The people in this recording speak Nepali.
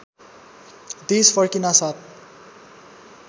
देश फर्किनासाथ